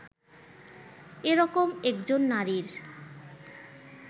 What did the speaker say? এরকম একজন নারীর